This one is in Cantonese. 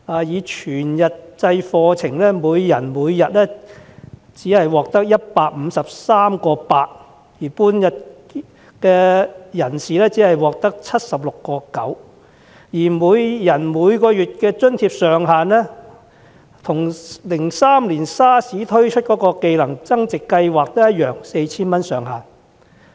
以全日制課程計，每人每天只能獲發 153.8 元津貼，修讀半日制的人士只能獲得 76.9 元，每人每月的津貼上限與2003年 SARS 期間推出的"技能增值計劃"同樣是 4,000 元。